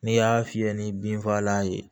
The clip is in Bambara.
N'i y'a fiyɛ ni binfagalan ye